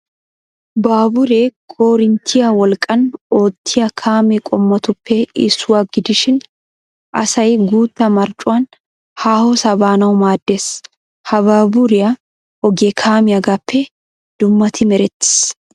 Baaburee koorinttiya wolqqan oottiya kaame qommotuppe issuwa gidishin asay guutta marccuwan haahosaa baanawu maaddes. Ha baaburiya ogee kaamiyaagaappe dummati merettis.